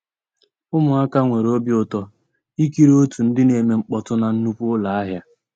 Ụmụ́àká nwèré òbí ụtọ́ ìkírí ótú ndị́ ná-èmè mkpọ́tụ́ ná nnùkwú ụ́lọ́ àhịá.